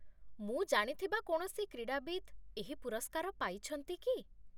ମୁଁ ଜାଣିଥିବା କୌଣସି କ୍ରୀଡ଼ାବିତ୍ ଏହି ପୁରସ୍କାର ପାଇଛନ୍ତି କି?